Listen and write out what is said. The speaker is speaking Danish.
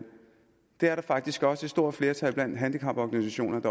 det er der faktisk også et stort flertal blandt handicaporganisationerne